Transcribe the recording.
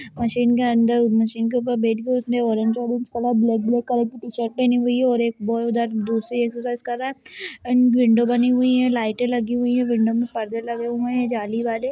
Machine के अंदर और मशीन के ऊपर बैठ के उसने orange orange colour black black colour की टी-शर्ट पहनी हुई है और एक वो उधर दूसरी एक्सर्साइज़ कर रहा हैं एण्ड विंडों बनी हुई हैं लाइटे लगी हुई हैं विंडों में पर्दे लगे हुए है जाली वाले।